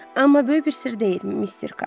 Amma böyük bir sirr deyil, mister Kap.